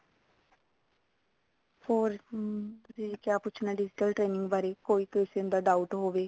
ਹੋਰ ਤੁਸੀਂ ਕਿਆ ਪੁੱਛਣਾ digital training ਬਾਰੇ ਕੋਈ question ਦਾ doubt ਹੋਵੇ